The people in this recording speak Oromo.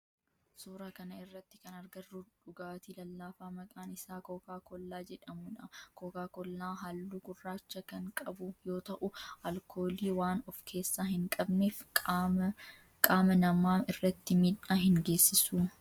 Suuraa kana irratti kan agarru dhugaatii lallaafaa maqaan isaa kookaa koollaa jedhamudha. Kookaa koollaa halluu gurraacha kan qabu yoo ta'u alkoolii waan of keessaa hin qabneef qaama namaa irratti midhaa hin geessisu.